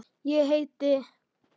Ég heiti